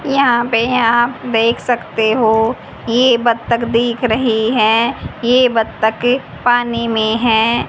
यहां पे आप देख सकते हो ये बत्तख दिख रही है ये बत्तख पानी में है।